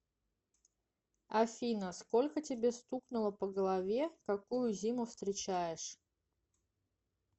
афина сколько тебе стукнуло по голове какую зиму встречаешь